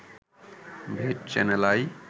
ভিট channel I